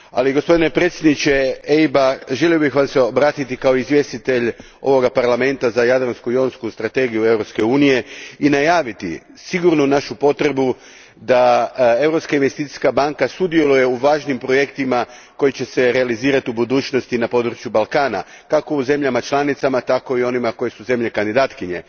Gospodine predsjedniče EIB a, želio bih Vam se obratiti kao izvjestitelj ovoga Parlamenta za Jadransku i Jonsku strategiju Europske unije i najaviti sigurnu našu potrebu da Europska investicijska banka sudjeluje u važnim projektima koji će se realizirati u budućnosti na području Balkana, kako u zemljama članicama, tako i u onima koje su zemlje kandidatkinje.